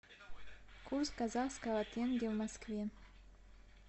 курс казахского тенге в москве